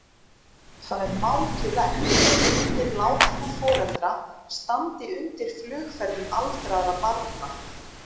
Það er mátulegt að eignir látinna foreldra standi undir flugferðum aldraðra barna.